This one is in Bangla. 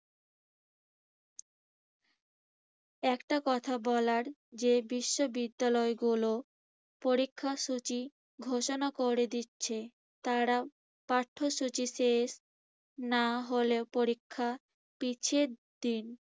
একটা কথা বলার যে, বিশ্ববিদ্যালয়গুলো পরীক্ষাসূচি ঘোষণা করে দিচ্ছে। তারা পাঠ্যসূচি শেষ হলে পরীক্ষা পিছিয়ে দিন।